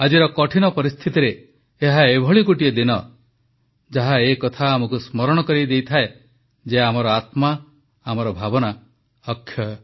ଆଜିର କଠିନ ପରିସ୍ଥିତିରେ ଏହା ଏଭଳି ଗୋଟିଏ ଦିନ ଯାହା ଏ କଥା ଆମକୁ ସ୍ମରଣ କରାଇ ଦେଇଥାଏ ଯେ ଆମର ଆତ୍ମା ଆମର ଭାବନା ଅକ୍ଷୟ